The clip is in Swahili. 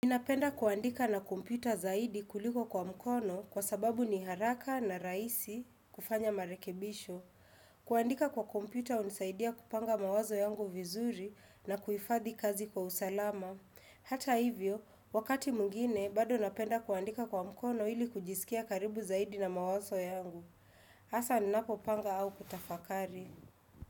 Ninapenda kuandika na kompyuta zaidi kuliko kwa mkono kwa sababu ni haraka na rahisi kufanya marekebisho. Kuandika kwa kompyuta unisaidia kupanga mawazo yangu vizuri na kuhifadhi kazi kwa usalama. Hata hivyo, wakati mwingine, bado napenda kuandika kwa mkono ili kujisikia karibu zaidi na mawazo yangu. Asa ninapo panga au kutafakari.